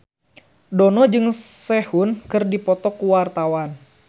Dono jeung Sehun keur dipoto ku wartawan